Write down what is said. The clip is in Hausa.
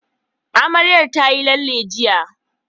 Amarya tayi lalle jiya.